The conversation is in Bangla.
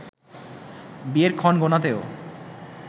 বিয়ের ক্ষণ গোনাতেও